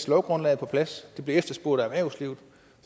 lovgrundlaget på plads det bliver efterspurgt af erhvervslivet